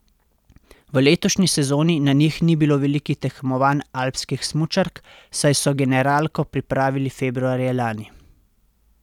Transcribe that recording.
V letošnji sezoni na njih ni bilo velikih tekmovanj alpskih smučark, saj so generalko pripravili februarja lani.